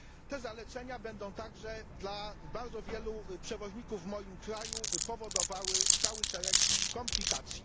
Te zalecenia będą także dla bardzo wielu przewoźników w moim kraju powodowały cały szereg komplikacji.